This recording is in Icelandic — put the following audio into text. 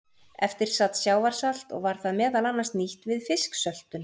Eftir sat sjávarsalt og var það meðal annars nýtt við fisksöltun.